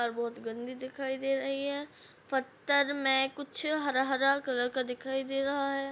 और बहोत गंदी दिखाई दे रही है पत्थर में कुछ हरा हरा कलर का दिखाई दे रहा है।